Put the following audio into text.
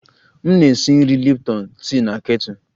M na-esi nri Lipton tii na kettle